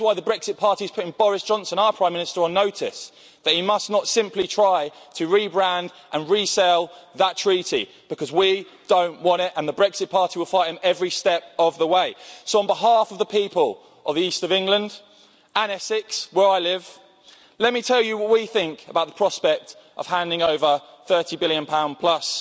And that is why the Brexit Party is putting Boris Johnson, our Prime Minister, on notice that he must not simply try to rebrand and resell that treaty, because we don't want it, and the Brexit Party will fight him every step of the way. On behalf of the people of the East of England and Essex where I live, let me tell you what we think about the prospect of handing over GBP 30 billion